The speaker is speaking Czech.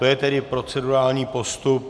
To je tedy procedurální postup.